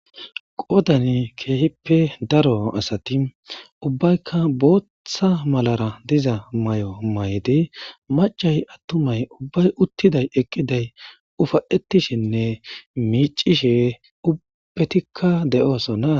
Qodani keehippe daro asati ubbaykka boothhtha malara diza may'o maydi macay attumay ubbay uttiday eqqiday ufaetishinne miicishe ubpetikka de'oosonna.